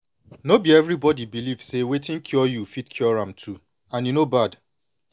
no be everybody believe say wetin cure you fit cure am too and e no bad